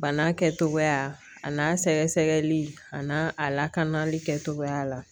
Bana kɛcogoya a n'a sɛgɛsɛgɛli a n'a a lakanali kɛtogoya la